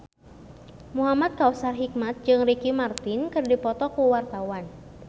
Muhamad Kautsar Hikmat jeung Ricky Martin keur dipoto ku wartawan